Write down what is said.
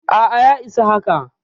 A'a, ya isa haka.